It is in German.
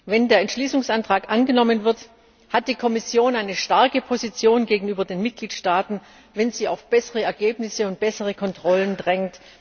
Wenn der Entschließungsantrag angenommen wird, hat die Kommission eine starke Position gegenüber den Mitgliedstaaten, wenn sie auf bessere Ergebnisse und bessere Kontrollen drängt.